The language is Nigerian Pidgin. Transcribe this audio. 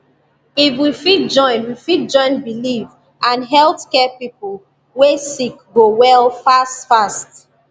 if we fit join we fit join believe and hospital care person way sick go well fast fast